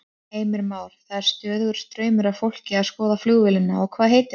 Heimir Már: Það er stöðugur straumur af fólki að skoða flugvélina og hvað heitir hún?